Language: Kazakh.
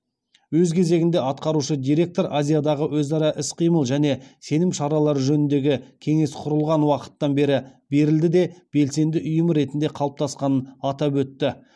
өз кезегінде атқарушы директор азиядағы өзара іс қимыл және сенім шаралары жөніндегі кеңес құрылған уақыттан бері берілді де белсенді ұйым ретінде қалыптасқанын атап өтті